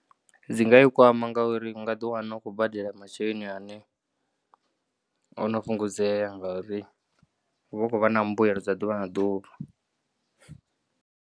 Dzingaikwama ngauri ungaḓiwana utshikhou badela masheleni ane onofhungudzea ngauri uvha ukhouvha na mbuelo dza ḓuvha na ḓuvha.